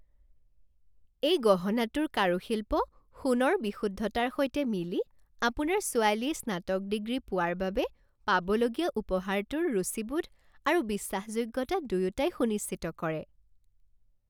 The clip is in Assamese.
এই গহনাটোৰ কাৰুশিল্প সোণৰ বিশুদ্ধতাৰ সৈতে মিলি আপোনাৰ ছোৱালীয়ে স্নাতক ডিগ্ৰী পোৱাৰ বাবে পাবলগীয়া উপহাৰটোৰ ৰুচিবোধ আৰু বিশ্বাসযোগ্যতা দুয়োটাই সুনিশ্চিত কৰে।